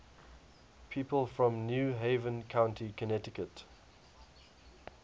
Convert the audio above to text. people from new haven county connecticut